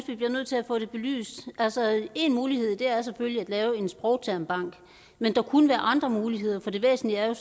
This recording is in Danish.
vi bliver nødt til at få det belyst altså én mulighed er selvfølgelig at lave en sprogtermbank men der kunne være andre muligheder for det væsentlige er jo